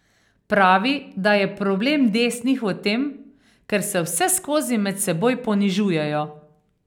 Pravi, da je problem desnih v tem, ker se vseskozi med seboj ponižujejo.